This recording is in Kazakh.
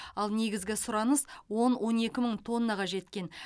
ал негізгі сұраныс он он екі мың тоннаға жеткен